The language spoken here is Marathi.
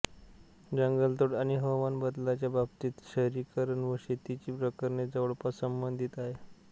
जंगलतोड आणि हवामान बदलाच्या बाबतीत शहरीकरण व शेतीची प्रकरणे जवळपास संबंधित आहेत